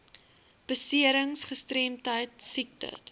beserings gestremdheid siekte